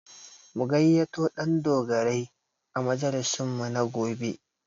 Mu gayyato Ɗandogarai a majalisinmu na gobe